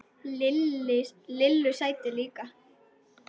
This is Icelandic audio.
Lillu sæti líka.